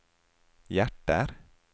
hjerter